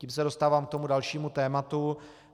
Tím se dostávám k tomu dalšímu tématu.